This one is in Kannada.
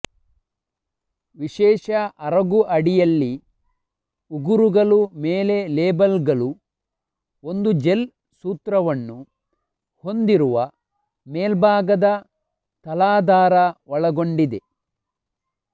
ವಿಶೇಷ ಅರಗು ಅಡಿಯಲ್ಲಿ ಉಗುರುಗಳು ಮೇಲೆ ಲೇಬಲ್ಗಳು ಒಂದು ಜೆಲ್ ಸೂತ್ರವನ್ನು ಹೊಂದಿರುವ ಮೇಲ್ಭಾಗದ ತಲಾಧಾರ ಒಳಗೊಂಡಿದೆ